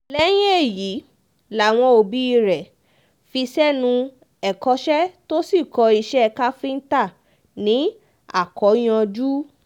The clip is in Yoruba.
lẹ́yìn èyí làwọn òbí rẹ̀ fi sẹ́nu ẹ̀kọ́ṣe tó sì kọ́ iṣẹ́ káfíńtà ní akóyanjú